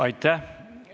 Aitäh!